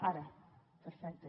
ara perfecte